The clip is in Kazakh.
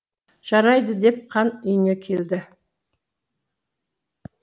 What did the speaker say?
жарайды деп хан үйіне келді